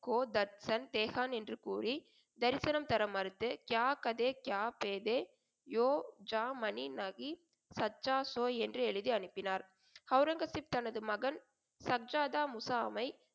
கோ தர்சன் பேசான் என்று கூறி தரிசனம் தர மறுத்து என்று எழுதி அனுப்பினார். ஒளரங்கசீப் தனது மகன் சப்ஜாதா முஸாமை